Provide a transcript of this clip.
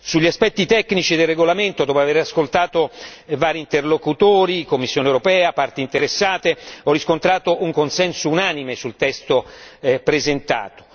Sugli aspetti tecnici del regolamento, dopo aver ascoltato vari interlocutori, Commissione europea, parti interessate, ho riscontrato un consenso unanime sul testo presentato.